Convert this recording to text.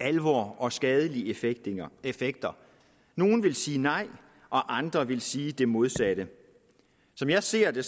alvor og skadelige effekt nogle vil sige nej og andre vil sige det modsatte som jeg ser det